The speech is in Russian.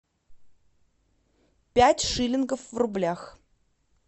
пять шиллингов в рублях